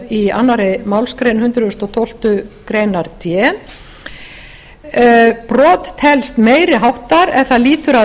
í annarri málsgrein hundrað og tólftu grein d brot telst meiri háttar ef það lýtur að